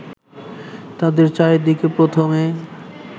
তাদের চারিদিকে প্রথমে